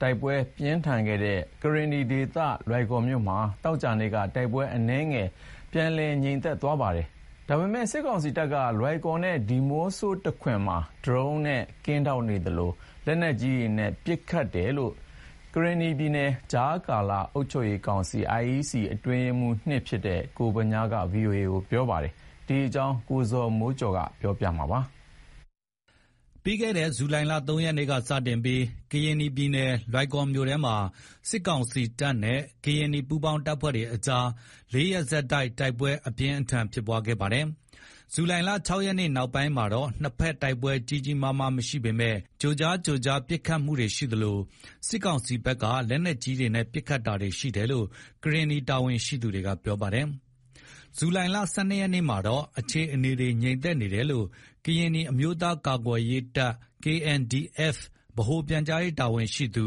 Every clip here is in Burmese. တိုက်ပွဲတွေ ပြင်းထန်ခဲ့တဲ့ ကရင်နီ ပြည်နယ် လွိုင်ကော်မြို့မှာ ဇူလိုင်လ ၁၂ ရက်နေ့မှာတော့ အနည်းငယ် ပြန်လည်ငြိမ်သက်သွားပါတယ်။ ဒါပေမဲ့ စစ်ကောင်စီတပ်တွေက လွိုင်ကော်နဲ့ ဒီးမော့ဆို တခွင်မှာ ဒရုန်းတွေနဲ့ကင်းထောက်နေသလို၊ လက်နက်ကြီးနဲ့ ပစ်ခတ်တာတွေတော့ ရှိနေတယ်လို့ ကရင်နီပြည်ကြားကာလ အုပ်ချုပ်ရေးကောင်စီ အတွင်းရေးမှူး ကိုဗညားက ဗွီအိုအေကို ပြောပါတယ်။ လွိုင်ကော်ဘက်က နောက်ဆုံးအခြေအနေ သတင်းပေးပို့ထားတာကို - ကိုဇော်မိုးကျော်က ပြောပြပါမယ်။ ပြီးခဲ့တဲ့ ဇူလိုင် ၃ ရက်နေ့က စတင်ပြီး ကရင်နီပြည်နယ် လွိုင်ကော်မြို့ထဲမှာ စစ်ကောင်စီတပ်နဲ့ ကရင်နီပူးပေါင်းတပ်တွေအကြား ၄ ရက် ဆက်တိုက်တိုက်ပွဲ အပြင်းအထန်ဖြစ်ပွားခဲ့ပါတယ်။ ဇူလိုင် ၆ ရက်နေ့ နောက်ပိုင်းမှာတော့ နှစ်ဘက် တိုက်ပွဲကြီးကြီးမားမား မရှိပေမယ့် ကြိုကြားကြိုကြား ပစ်ခတ်မှုတွေရှိသလို၊ စစ်ကောင်စီဘက်က လက်နက်ကြီးတွေနဲ့ ပစ်ခတ်တာတွေ ရှိတယ်လို့ ကရင်နီ တာဝန်ရှိသူတွေက ပြောပါတယ်။ ဇူလိုင်လ ၁၂ ရက်နေ့မှာတော့ အခြေအနေတွေ ငြိမ်သက်နေတယ်လို့ ကရင်နီအမျိုးသားများကာကွယ်ရေးတပ် ဗဟိုပြန်ကြားရေး တာဝန်ရှိသူ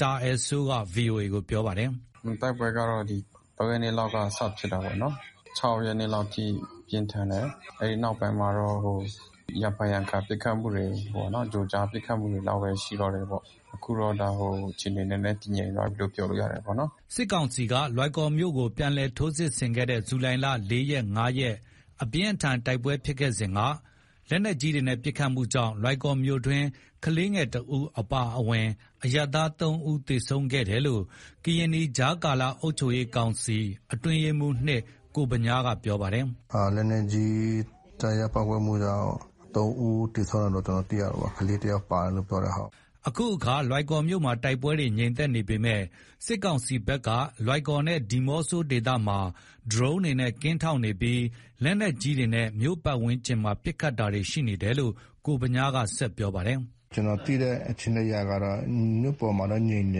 တာအယ်စိုးက ဗွီအိုအေကို ပြောပါတယ်။ “တိုက်ပွဲကတော့ ဒီ ၃ ရက်နေ့လောက်က စဖြစ်တာပေါ့နော်။ ဒီ ၃ ရက်နေ့ ၅ ၊ ၆ ရက်နေ့လောက်အထိ ပြင်းထန်တယ်။ အဲ့ဒီနောက်ပိုင်းမှာတော့ ရံဖန်ရံခါ ပစ်ခတ်မှုတွေပေါ့နော် ကြိုကြားကြိုကြား ပစ်ခတ်မှုတွေလောက်ပဲ ရှိတော့တယ်ပေါ့။ အခုတော့ အခြေအနေ နည်းနည်းတည်ငြိမ်သွားပြီးလို့ ပြောလို့ရတယ်ပေါ့နော်။” စစ်ကောင်စီက လွိုင်ကော်မြို့ကို ပြန်လည် ထိုးစစ်ဆင်ခဲ့တဲ့ ဇူလိုင် ၄ ရက် ၅ ရက် အပြင်းအထန် တိုက်ပွဲဖြစ်ခဲ့စဉ်က လက်နက်ကြီးတွေနဲ့ ပစ်ခတ်မှုကြောင့် လွိုင်ကော်မြို့တွင်း ကလေးငယ်တဦး အပါအဝင် အရပ်သား ၃ ဦးသေဆုံးခဲ့တယ်လို့ ကရင်နီပြည် ကြားကာလအုပ်ချုပ်ရေးကောင်စီ အတွင်းရေးမှူး ကိုဗညားက ပြောပါတယ်။ “လက်နက်ကြီးကျရောက် ပေါက်ကွဲမှုကြောင့် ၃ ဦးသေဆုံးတယ်လို့ ကျနော်တို့ သိရတယ်ပေါ့၊ ကလေး တယောက်ပါတယ်လို့ ပြောတယ် ဟုတ်။” အခုအခါ လွိုင်ကော်မြို့မှာ တိုက်ပွဲတွေ ငြိမ်သက်နေပေမယ့်၊ စစ်ကောင်စီဘက်က လွိုင်ကော်နဲ့ ဒီးမော့ဆိုဒေသမှာ ဒရုန်းတွေနဲ့ ကင်းထောက်နေပြီး၊ လက်နက်ကြီးတွေနဲ့ မြို့ပတ်ဝန်းကျင်မှာ ပစ်ခတ်တာတွေ ရှိနေတယ်လို့ ကိုဗညားကဆက်ပြောပါတယ်။ “ကျနော်သိတဲ့ အခြေအနေအရကတော့ မြို့ပေါ်မှာတော့ ငြိမ်တ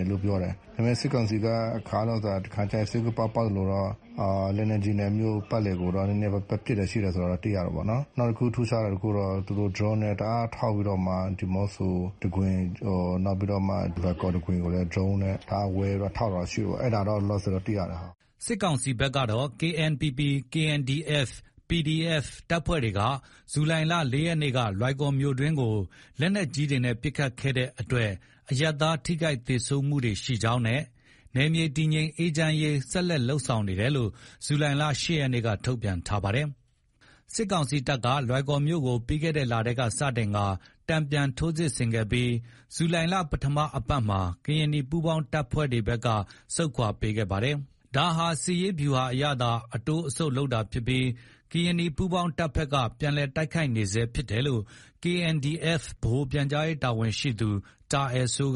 ယ်လို့ ပြောပါတယ်။ ဒါပေမဲ့ စစ်ကောင်စီက အခါလျော်စွာ တခါကျရင် စိတ်ကူးပေါက်ရင် ပေါက်သလိုတော့ လက်နက်ကြီးနဲ့ မြို့ပတ်လည်ကိုတော့ နည်းနည်းပတ်ပစ်တာ ရှိတယ်ဆိုတာ သိရတယ်ပေါ့နော်။ နောက်တခု ထူးခြားတာတခုတော့ သူတို့ ဒရုန်းနဲ့ တအားထောက်ပြီးတော့မှ ဒီးမော့ဆိုတခွင် နောက်ပြီးတော့မှ လွိုင်ကော်တခွင်ကိုလည်း ဒရုန်းနဲ့ တအားဝဲပြီးတော့ ထောက်တာ ရှိတယ်ပေါ့ အဲ့ဒါတော့ လောလောဆယ်တော့ သိရတယ်။” စစ်ကောင်စီဘက်တော့ KNPP/KNDF/PDF တပ်ဖွဲ့တွေက ဇူလိုင်လ ၄ ရက်နေ့က လွိုင်ကော်မြို့တွင်းကို လက်နက်ကြီးတွေနဲ့ ပစ်ခတ်တဲ့အတွက် အရပ်သား ထိခိုက်သေဆုံးမှု ရှိကြောင်းနဲ့ နယ်မြေ တည်ငြိမ်အေးချမ်းရေး ဆက်လက် လုပ်ဆောင်နေတယ်လို့ ဇူလိုင်လ ၈ ရက်နေ့က ထုတ်ပြန်ထားပါတယ်။ စစ်ကောင်စီတပ်ဟာ လွိုင်ကော်မြို့ကို ပြီးခဲ့တဲ့လထဲက စတင်ကာ တန်ပြန်ထိုးစစ်ဆင်ခဲ့ပြီး၊ ဇူလိုင်လ ပထမပတ်မှာ ကရင်နီပူးပေါင်းတပ်ဘက်က ဆုတ်ခွါပေးခဲ့ပါတယ်။ ဒါဟာ စစ်ရေးဗျူဟာအရသာ အတိုးအဆုတ် လုပ်တာဖြစ်ပြီး ကရင်နီပူးပေါင်းတပ်ဘက်က ပြန်တိုက်ခိုက်နေဆဲဖြစ်တယ်လို့ KNDF ဗဟိုပြန်ကြားရေး တာဝန်ရှိသူ တာအယ်စိုး